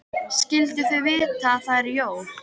Skyldu þau vita að það eru jól?